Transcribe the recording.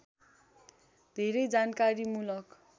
धेरै जानकारीमूलक